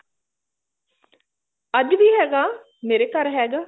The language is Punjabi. ਅੱਜ ਵੀ ਹੈਗਾ ਮੇਰੇ ਘਰ ਹੈਗਾ